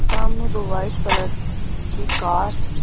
सामने दो white colour की कार --